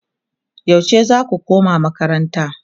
yaushe zaku koma makaranta?